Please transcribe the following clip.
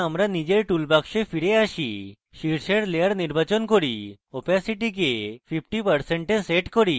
এখন আমরা নিজের টুলবাক্সে ফিরে যাই শীর্ষের layer নির্বাচন করি এবং opacity অস্বচ্ছতা 50% we set করি